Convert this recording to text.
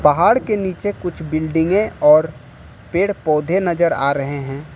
पहाड़ के नीचे कुछ बिल्डिंगे और पेड़ पौधे नजर आ रहे हैं।